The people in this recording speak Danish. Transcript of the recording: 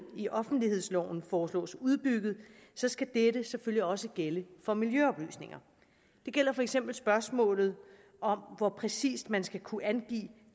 i offentlighedsloven foreslås udbygget skal dette selvfølgelig også gælde for miljøoplysninger det gælder for eksempel spørgsmålet om hvor præcist man skal kunne angive